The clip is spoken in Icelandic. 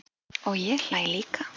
Og ég hlæ líka.